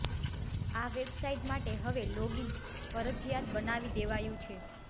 આ વેબસાઈટ માટે હવે લોગઈન ફરજિયાત બનાવી દેવાયું છે